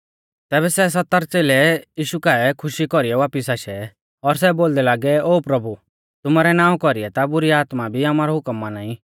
तैबै सै सत्तर च़ेलै यीशु काऐ खुशी कौरीऐ वापिस आशै और सै बोलदै लागै ओ प्रभु तुमारै नावां कौरीऐ ता बुरी आत्मा भी आमारौ हुकम माना ई